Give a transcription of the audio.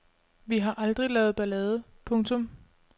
Vi har aldrig lavet ballade. punktum